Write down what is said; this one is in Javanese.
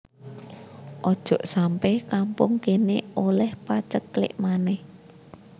Ojok sampe kampung kene oleh paceklik maneh